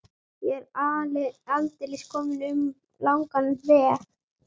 Ég er aldeilis kominn um langan veg.